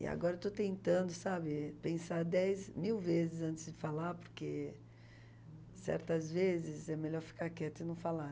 E agora eu estou tentando, sabe, pensar dez, mil vezes antes de falar, porque certas vezes é melhor ficar quieta e não falar.